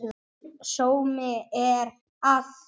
Mikill sómi er að því.